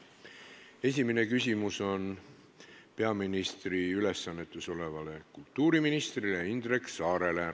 Esimene küsimus on peaministri ülesannetes olevale kultuuriministrile Indrek Saarele.